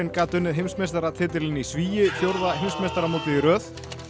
gat unnið heimsmeistaratitilinn í svigi fjórða heimsmeistaramótið í röð